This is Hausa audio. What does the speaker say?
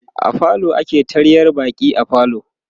a falo ake taryar baƙi a falo